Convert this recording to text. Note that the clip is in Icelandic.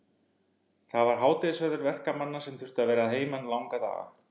Það var hádegisverður verkamanna sem þurftu að vera að heiman langa daga.